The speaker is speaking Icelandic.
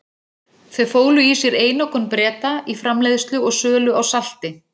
Þau fólu í sér einokun Breta í framleiðslu og sölu á salti.